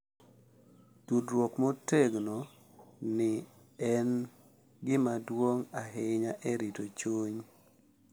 Tudruok motegno ni en gima duong’ ahinya e rito chuny